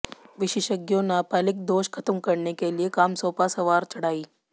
विशेषज्ञों नाबालिग दोष खत्म करने के लिए काम सौंपा सवार चढ़ाई